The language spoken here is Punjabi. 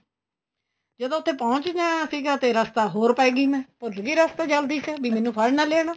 ਜਦੋਂ ਉੱਥੇ ਪਹੁੰਚ ਗਿਆ ਸੀਗਾ ਤੇ ਰਸਤਾ ਹੋਰ ਪੈ ਗਈ ਮੈਂ ਭੁੱਲ ਗੀ ਰਸਤਾ ਜਲਦੀ ਜਲਦੀ ਮੈਨੂੰ ਫੜ ਨਾ ਲੈਣ